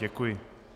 Děkuji.